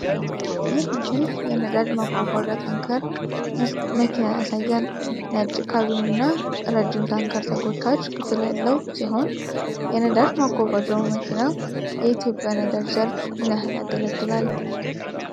ይህ ምስል የነዳጅ ማጓጓዣ ታንከር መኪና ያሳያል። ነጭ ካቢንና ረጅም ታንከር ተጎታች ክፍል ያለው ሲሆን፣ የነዳጅ ማጓጓዣው መኪና የኢትዮጵያ ነዳጅ ዘርፍ ምን ያህል ያገለግላል?